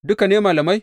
Duka ne malamai?